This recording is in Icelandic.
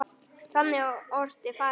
Þannig orti faðir minn.